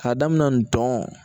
K'a daminɛ ntɔn